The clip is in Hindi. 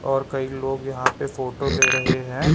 और कई लोग यहां पे फोटो ले रहे हैं।